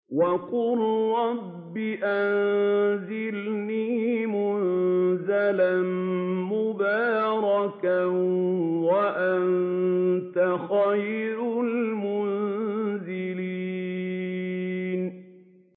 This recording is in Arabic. وَقُل رَّبِّ أَنزِلْنِي مُنزَلًا مُّبَارَكًا وَأَنتَ خَيْرُ الْمُنزِلِينَ